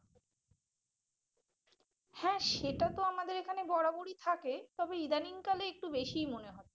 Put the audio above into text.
হ্যাঁ সেটা তো আমাদের এখানে বরাবরই থাকে তবে ইদানিং কালে একটু বেশিই মনে হচ্ছে।